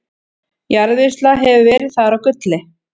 jarðvinnsla hefur verið þar á gulli